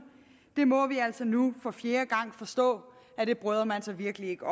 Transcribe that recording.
må vi altså nu for fjerde gang forstå at man virkelig ikke